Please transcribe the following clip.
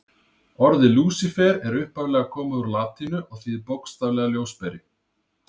Orðið Lúsífer er upphaflega komið úr latínu og þýðir bókstaflega ljósberi.